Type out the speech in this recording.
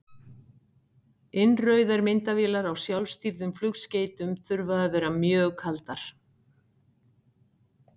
Innrauðar myndavélar á sjálfstýrðum flugskeytum þurfa að vera mjög kaldar.